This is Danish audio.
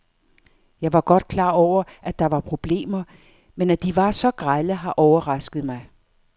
Jeg var godt klar over, at der var problemer, men at de var så grelle har overrasket mig.